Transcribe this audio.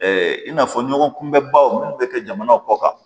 i n'a fɔ ɲɔgɔn kunbɛ baw minnu bɛ kɛ jamana kɔ kan